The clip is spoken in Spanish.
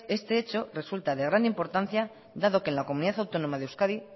este hecho resulta de gran importancia dado que en la comunidad autónoma de euskadi